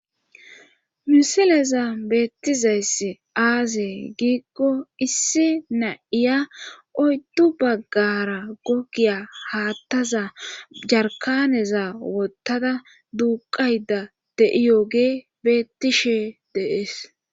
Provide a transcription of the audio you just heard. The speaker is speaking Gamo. Misileza beettizayss aazee giikko issi na7iya oyddu baggara gogiya haattaza jarkaneza wottada duuqayda de7iyogee beettishe deees